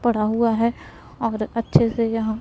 पडा हुआ है और अच्छे से यहां--